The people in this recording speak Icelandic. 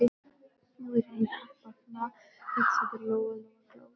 Nú er Heiðu að batna, hugsaði Lóa Lóa glöð.